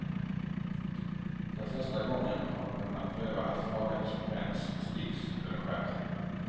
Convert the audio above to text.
För första gången har de kunnat pröva allt farligt som bränns, sticks eller skär.